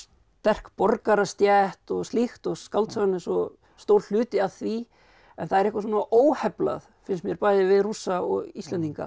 sterk borgarastétt og slíkt og skáldsagan er svo stór hluti af því en það er eitthvað svona óheflað finnst mér bæði við Rússa og Íslendinga